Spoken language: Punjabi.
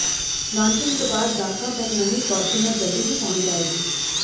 ਲਾਚਿੰਗ ਤੋਂ ਬਾਅਦ ਗਾਹਕਾਂ ਤੱਕ ਨਵੀਂ ਫਾਰਚੂਨਰ ਜਲਦੀ ਹੀ ਪਹੁੰਚ ਜਾਏਗੀ